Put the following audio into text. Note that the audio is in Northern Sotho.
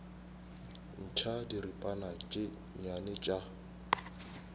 ntšha diripana tše nnyane tša